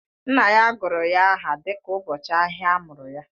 Nna ya gụrụ ya aha dịka ụbọchị ahịa a mụrụ ya